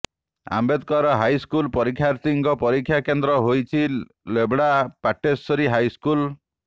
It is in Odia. ଆମ୍ବେଦକର ହାଇସ୍କୁଲ୍ ପରୀକ୍ଷାର୍ଥୀଙ୍କ ପରୀକ୍ଷା କେନ୍ଦ୍ର ହୋଇଛି ଲେବଡା ପାଟଣେଶ୍ୱରୀ ହାଇସ୍କୁଲ୍